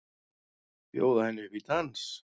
Bjóða henni upp í dans!